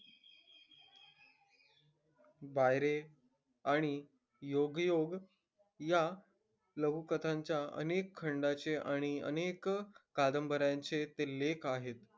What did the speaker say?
बाईरे, आणि योगायोग, या लघुकथांच्या अनेक खंडांचे आणि अनेक कादंबऱ्यांचे ते लेखक आहेत.